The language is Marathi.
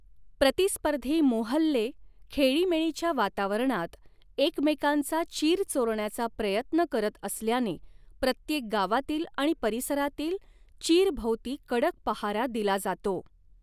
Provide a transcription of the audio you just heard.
प्रतिस्पर्धी मोहल्ले खेळीमेळीच्या वातावरणात एकमेकांचा चीर चोरण्याचा प्रयत्न करत असल्याने प्रत्येक गावातील आणि परिसरातील चीर भोवती कडक पहारा दिला जातो.